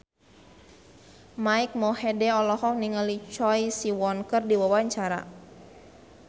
Mike Mohede olohok ningali Choi Siwon keur diwawancara